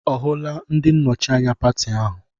Ọ hụla ndị nnọchi anya pati ahụ?